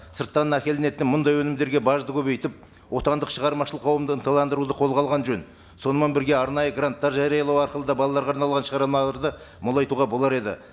сырттан әкелінетін мыңдай өнімдерге бажды көбейтіп отандық шағармашылық қауымдан таландыруды қолға алған жөн сонымен бірге арнайы гранттар жариялау арқылы да балаларға арналған шығармаларды молайтуға болар еді